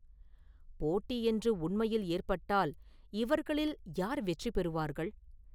போட்டி என்று உண்மையில் ஏற்பட்டால், இவர்களில் யார் வெற்றி பெறுவார்கள்?